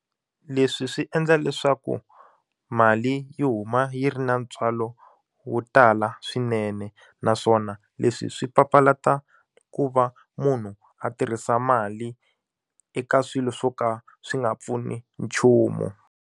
Leswi swi endla leswaku mali yi huma yi ri na ntswalo wo tala swinene naswona leswi swi papalata ku va munhu a tirhisa mali eka swilo swo ka swi nga pfuni nchumu.